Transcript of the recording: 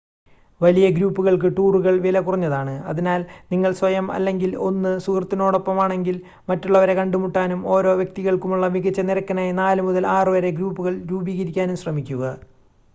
വലിയ ഗ്രൂപ്പുകൾക്ക് ടൂറുകൾ വില കുറഞ്ഞതാണ് അതിനാൽ നിങ്ങൾ സ്വയം അല്ലെങ്കിൽ 1 സുഹൃത്തിനോടൊപ്പമാണെങ്കിൽ മറ്റുള്ളവരെ കണ്ടുമുട്ടാനും ഓരോ വ്യക്തിതികൾക്കുമുള്ള മികച്ച നിരക്കിനായി 4 മുതൽ 6 വരെ ഗ്രൂപ്പുകൾ രൂപീകരിക്കാനും ശ്രമിക്കുക